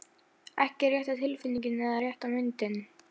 Ekki rétta tilfinningin eða rétta myndin.